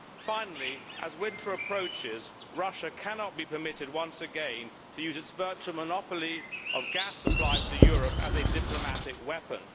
Finally, as winter approaches, Russia cannot be permitted once again to use its virtual monopoly of gas supplies to Europe as a diplomatic weapon.